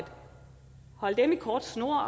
holde dem i kort snor